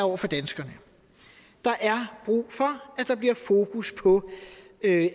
over for danskerne der er brug for at der bliver fokus på at